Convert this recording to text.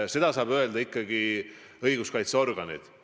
Seda saavad öelda ikkagi õiguskaitseorganid.